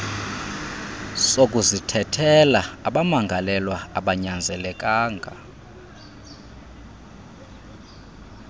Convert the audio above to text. sokuzithethelela abamangalelwa abanyanzelekanga